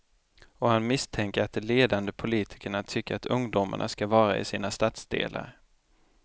Och han misstänker att de ledande politikerna tycker att ungdomarna ska vara i sina stadsdelar.